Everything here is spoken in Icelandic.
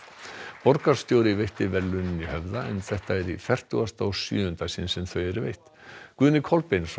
borgarstjóri veitti verðlaunin í Höfða en þetta er í fertugasta og sjöunda sinn sem þau eru veitt Guðni Kolbeinsson